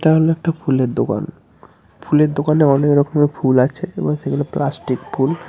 তাহলে একটা ফুলের দোকান ফুলের দোকানে অনেক রকমের ফুল আছে এবং সেগুলো প্লাস্টিক ফুল।